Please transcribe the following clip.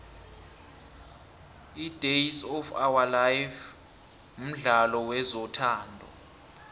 idays of ourlife mdlalo wezothando